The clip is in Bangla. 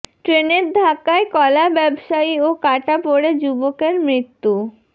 ট্রেনের ধাক্কায় কলা ব্যবসায়ী ও কাটা পড়ে যুবকের মৃত্যু